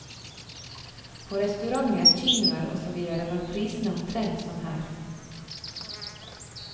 På restauranter, kinoer og så videre var prisene omtrent som her.